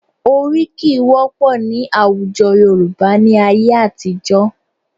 Oríkì wọ́pọ̀ ní àwùjọ Yorùbá ní ayé àtijọ́